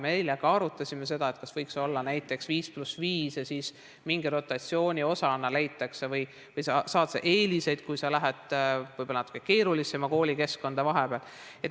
Me eile ka arutasime seda, kas võiks olla näiteks 5 + 5 ja siis sa mingi rotatsiooni osana lähed sinna või sa saad eeliseid, kui sa lähed vahepeal võib-olla natuke keerulisemasse koolikeskkonda.